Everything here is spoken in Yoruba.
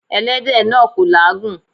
Ẹlẹ́dẹ̀ náà kò làágùn.